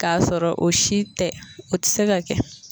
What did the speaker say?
Ka sɔrɔ o si tɛ o tɛ se ka kɛ.